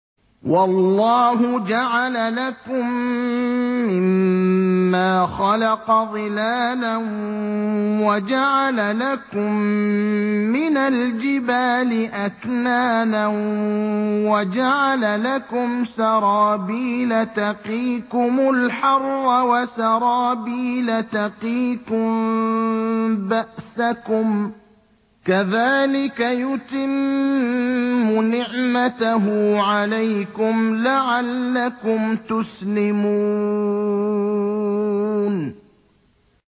وَاللَّهُ جَعَلَ لَكُم مِّمَّا خَلَقَ ظِلَالًا وَجَعَلَ لَكُم مِّنَ الْجِبَالِ أَكْنَانًا وَجَعَلَ لَكُمْ سَرَابِيلَ تَقِيكُمُ الْحَرَّ وَسَرَابِيلَ تَقِيكُم بَأْسَكُمْ ۚ كَذَٰلِكَ يُتِمُّ نِعْمَتَهُ عَلَيْكُمْ لَعَلَّكُمْ تُسْلِمُونَ